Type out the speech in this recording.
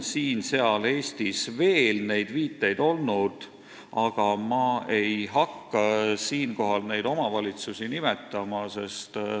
Siin-seal Eestis on veel neid viiteid olnud, aga ma ei hakka neid omavalitsusi nimetama.